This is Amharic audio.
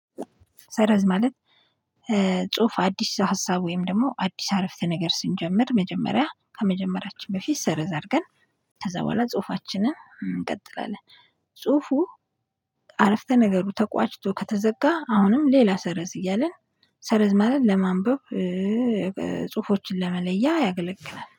ሰረዝ ማለት። ጽሁፍ አዲስ ሀሳብ ወይም ደግሞ አዲስ አረፍተ ነገር ስንጀምር መጀመሪያ ከመጀመሪያችን በፊት ሰርዝ አድርገን ከዛ በኋላ ጽሁፋችንን እንቀጥላለን። ጽሁፉ አረፍተ ነገሩ ተቋጭቶ ከተዘጋ። አሁንም ሌላ ሰረዝ እያለን ሰረዝ ማለት ለማንበብ። ጽሁፎችን ለመለያ ያገለግላል